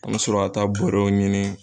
An be sɔrɔ ka taa bɔrɔw ɲini